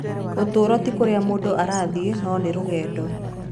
Ũtũũro ti kũrĩa mũndũ arathiĩ, no nĩ rũgendo.